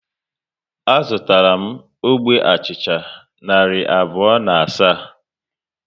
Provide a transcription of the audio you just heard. A zụtara m ógbè achịcha narị abụọ na asaa